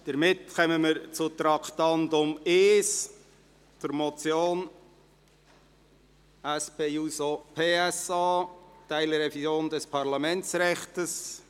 Somit kommen wir zum Traktandum 1, der Motion SP-JUSO-PSA «Teilrevision des Parlamentsrechts».